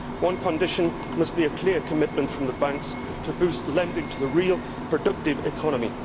One condition must be a clear commitment from the banks to boost lending to the real, productive economy.